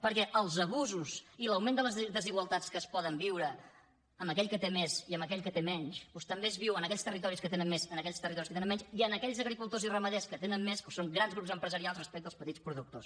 perquè els abusos i l’augment de les desigualtats que es poden viure amb aquell que té més i aquell que té menys doncs també es viu en aquells territoris que tenen més en aquells territoris que tenen menys i en aquells agricultors i ramaders que tenen més o són grans grups empresarials respecte als petits productors